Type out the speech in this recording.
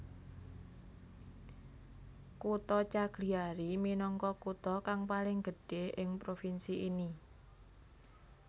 Kutha Cagliari minangka kutha kang paling gedhé ing provinsi ini